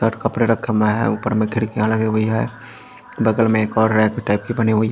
shirt कपड़े रखे हुए हैं ऊपर में खिड़कियां लगी हुई हैं बगल में एक और रैक टाइप की बनी हुई--